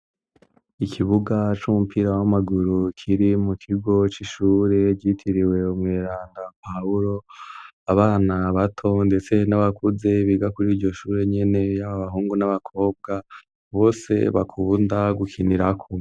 ikibuga c'umupira w'amaguru kiri mu kigo c'ishure ryitiriwe umweranda pawulo, abana bato ndetse n'abakuze biga kuri iryo shure nyene, abahungu n'abakobwa bose bakunda gukinirako.